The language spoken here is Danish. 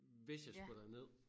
Hvis jeg skulle derned